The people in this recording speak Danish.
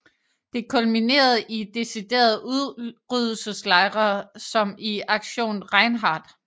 Det kulminerede i deciderede udryddelseslejre som i Aktion Reinhard